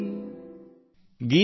ಕೈಸೀ ಹೈ ಛೋಟೀ ಸೀ ಕಟೋರೀ